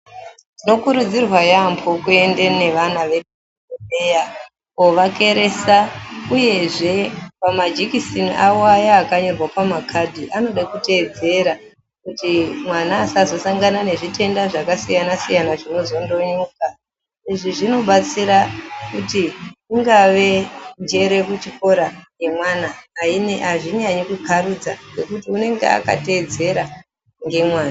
Tinokurudzirwa yaampho kuenda nevana vedu kuzvibhedhleya kovakeresa uyezve pamajekiseni awo aya akanyorwa pa makhadhi anode kuteedzera kuti mwana asazosangana nezvitenda zvakasiyanasiyana zvinozondonyuka. Izvi zvinobatsira kuti ungave njere kuchikora yemwana azvinyanyi kukarudza ngekuti unonga akateedzera ngemwazvo.